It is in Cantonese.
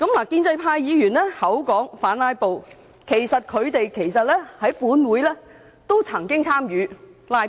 建制派議員口說反"拉布"，但他們在本會其實都曾參與"拉布"。